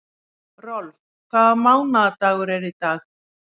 Rolf, hvaða mánaðardagur er í dag?